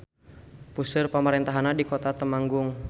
Puseur pamarentahannana di Kota Temanggung.